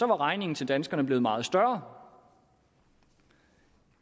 var regningen til danskerne blevet meget større